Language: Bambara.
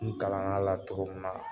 N kalann'a la cogo min na